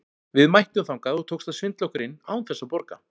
Við mættum þangað og tókst að svindla okkur inn án þess að borga.